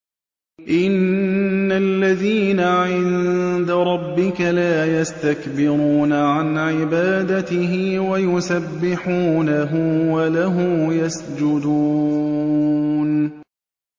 إِنَّ الَّذِينَ عِندَ رَبِّكَ لَا يَسْتَكْبِرُونَ عَنْ عِبَادَتِهِ وَيُسَبِّحُونَهُ وَلَهُ يَسْجُدُونَ ۩